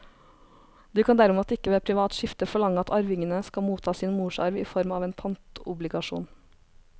Du kan derimot ikke ved privat skifte forlange at arvingene skal motta sin morsarv i form av en pantobligasjon.